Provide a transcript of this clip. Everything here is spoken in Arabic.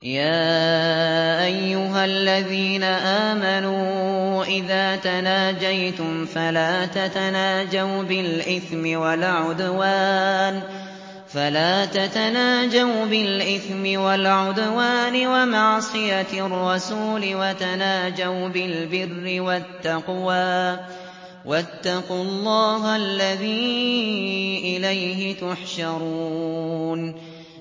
يَا أَيُّهَا الَّذِينَ آمَنُوا إِذَا تَنَاجَيْتُمْ فَلَا تَتَنَاجَوْا بِالْإِثْمِ وَالْعُدْوَانِ وَمَعْصِيَتِ الرَّسُولِ وَتَنَاجَوْا بِالْبِرِّ وَالتَّقْوَىٰ ۖ وَاتَّقُوا اللَّهَ الَّذِي إِلَيْهِ تُحْشَرُونَ